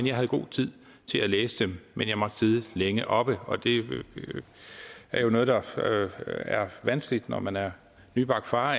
jeg havde god tid til at læse dem men jeg måtte sidde længe oppe og det er noget der er vanskeligt når man er nybagt far